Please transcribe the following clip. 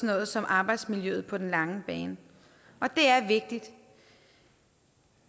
noget som arbejdsmiljøet på den lange bane og det er vigtigt